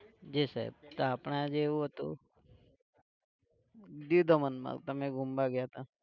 જી સાહેબ, તો આપણે આજે એવું હતું, દીવ દમણમાં તમે ધૂમવા ગયા તા